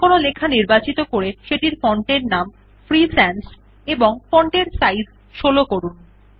যেকোনো লেখা নির্বাচিত করে সেটির ফন্ট এর নাম ফ্রি সানস এবং font এর সাইজ ১৬ করুন